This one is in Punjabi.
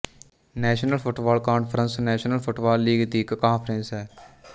national football conference national football league ਦੀ ਇੱਕ ਕਾਂਫਰੇਸ ਹੈ